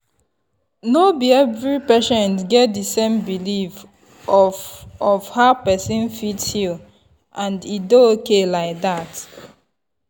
no be every patient get the same belief of of how person fit heal and e dey ok like dat.